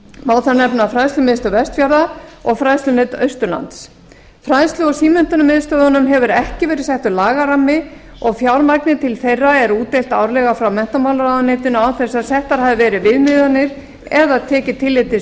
má þar nefna fræðslumiðstöð vestfjarða og fræðslumiðstöð austurlands fræðslu og símenntunarmiðstöðvunum hefur ekki verið settur lagarammi og fjármagni til þeirra er útdeilt árlega af menntamálaráðuneytinu án þess að settar hafi verið viðmiðanir eða tekið tillit til